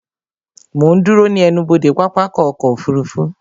Mo ń dúró ní ẹnubodè pápákọ̀ ọkọ̀ òfurufú